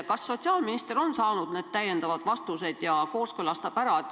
Kas sotsiaalminister on saanud täiendavad selgitused ja kooskõlastab eelnõu ära?